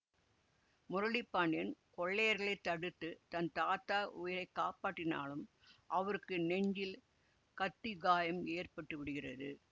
முரளி பாண்டியன் கொள்ளையர்களை தடுத்து தன் தாத்தா உயிரை காப்பாற்றினாலும் அவருக்கு நெஞ்சில் கத்தி காயம் ஏற்பட்டு விடுகிறது